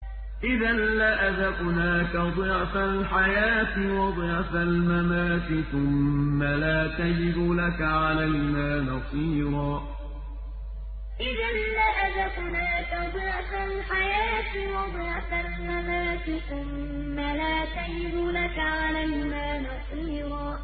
إِذًا لَّأَذَقْنَاكَ ضِعْفَ الْحَيَاةِ وَضِعْفَ الْمَمَاتِ ثُمَّ لَا تَجِدُ لَكَ عَلَيْنَا نَصِيرًا إِذًا لَّأَذَقْنَاكَ ضِعْفَ الْحَيَاةِ وَضِعْفَ الْمَمَاتِ ثُمَّ لَا تَجِدُ لَكَ عَلَيْنَا نَصِيرًا